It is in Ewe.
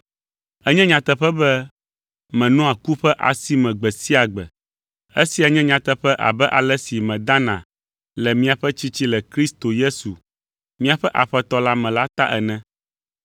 Enye nyateƒe be menɔa ku ƒe asi me gbe sia gbe. Esia nye nyateƒe abe ale si medana le miaƒe tsitsi le Kristo Yesu míaƒe Aƒetɔ la me la ta ene.